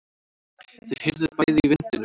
Þau heyrðu bæði í vindinum.